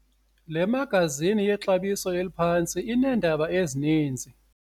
Le magazini yexabiso eliphantsi ineendaba ezininzi.